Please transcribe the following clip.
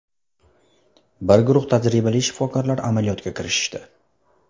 Bir guruh tajribali shifokorlar amaliyotga kirishishdi.